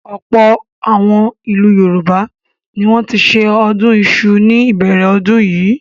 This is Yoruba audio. Ọ̀pọ̀ àwọn ìlú Yorùbá ni wọ́n ti ṣe ọdún iṣu ní ìbẹ̀rẹ̀ ọdún yìí.